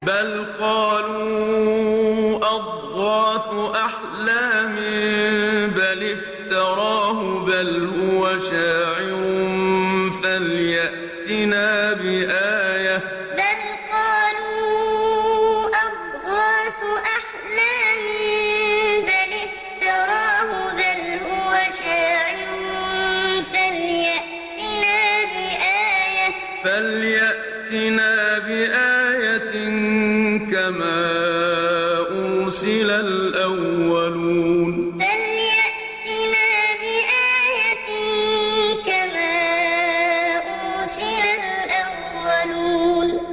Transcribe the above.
بَلْ قَالُوا أَضْغَاثُ أَحْلَامٍ بَلِ افْتَرَاهُ بَلْ هُوَ شَاعِرٌ فَلْيَأْتِنَا بِآيَةٍ كَمَا أُرْسِلَ الْأَوَّلُونَ بَلْ قَالُوا أَضْغَاثُ أَحْلَامٍ بَلِ افْتَرَاهُ بَلْ هُوَ شَاعِرٌ فَلْيَأْتِنَا بِآيَةٍ كَمَا أُرْسِلَ الْأَوَّلُونَ